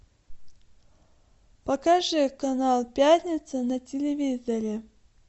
покажи канал пятница на телевизоре